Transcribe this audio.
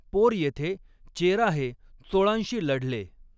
पोर येथे चेरा हे चोळांशी लढले.